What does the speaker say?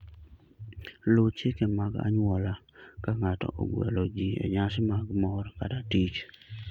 Luw chike mag anyuola ka ng'ato ogwelo ji e nyasi mag mor kata tich.